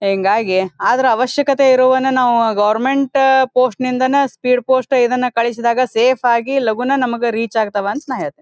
ಹಿಂಗಾಗಿ ಅದರ ಅವಶ್ಯಕತೆ ಇರೋ ವನ್ನ ನಾವು ಗವರ್ನಮೆಂಟ್ ಪೋಸ್ಟ್ ನಿಂದಾನೇ ಸ್ಪೀಡ್ ಪೋಸ್ಟ್ ಇದನ್ನು ಕಳಿಸಿದಾಗ ಸೇಫ್ ಆಗಿ ಲಗೂನೆ ನಮಗೆ ರೀಚ್ ಆಗ್ತವೆ ಅಂತ ನಾನು ಹೇಳ್ತಿನಿ.